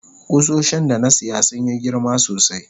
kusoshin da na siya sun Yi girma sosai.